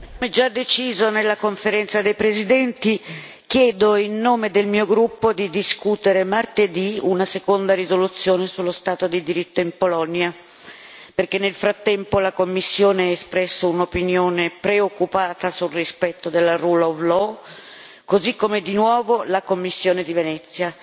Signor Presidente, onorevoli colleghi, come già deciso nella Conferenza dei presidenti, chiedo in nome del mio gruppo di discutere martedì una seconda risoluzione sullo stato di diritto in Polonia perché nel frattempo la Commissione ha espresso un'opinione preoccupata sul rispetto del così come, di nuovo, la Commissione di Venezia